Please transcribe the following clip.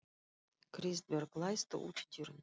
Kristbjörg, læstu útidyrunum.